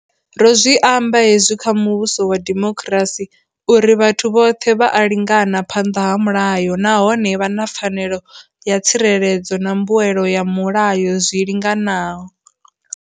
Ro zwi amba hezwi kha muvhuso wa demokirasi, uri vhathu vhoṱhe vha a lingana phanḓa ha mulayo nahone vha na pfanelo ya tsireledzo na mbuelo ya mulayo zwi linganaho.